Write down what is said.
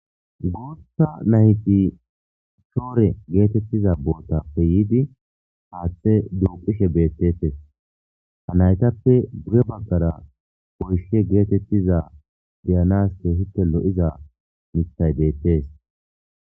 Bootha nayti shore getetiza bootappe yiidi haathe duuqishe betetesi, Ha naytappe guye bagara woyshe getetiza beyanasi keehippe lo'iza mithay beetesi.